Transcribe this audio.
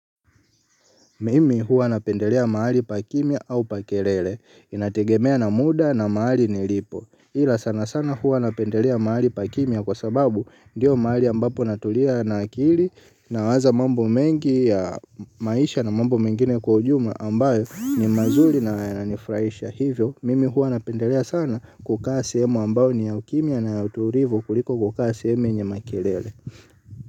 Mimi huwa napendelea mahali pa kimya au pa kelele. Inategemea na muda na mahali nilipo. Ila sana sana huwa napendelea mahali pa kimya kwa sababu ndiyo mahali ambapo natulia na akili nawaza mambo mengi ya maisha na mambo mengine kwa ujumla ambayo ni mazuri na yananifurahisha. Hivyo, mimi huwa napendelea sana kukaa sehemu ambayo ni ya ukimya na ya utulivu kuliko kukaa sehemu yenye makelele.